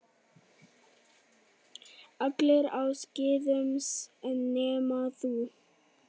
Allir á skíðum nema þú.